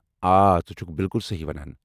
آ ژٕ چُھکھ بِالکُل صحیحی ونان۔